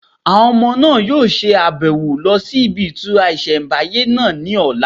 Àwọn ọmọ náà yóò ṣe àbẹ̀wò lọ sí ibi ìtura ìsẹ̀mbáyé náà ní ọ̀la